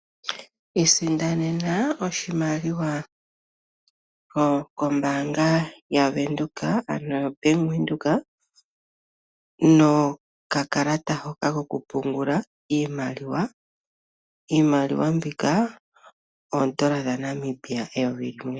Isindanena oshimaliwa kombaanga yavenduka ano koBank Windhoek nokakalata hoka kokupungula iimaliwa. Iimaliwa mbika oodola dhaNamibia eyovi limwe.